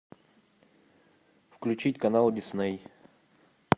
включить канал дисней